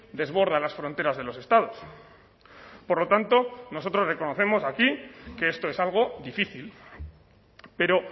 desborda las fronteras de los estados por lo tanto nosotros reconocemos aquí que esto es algo difícil pero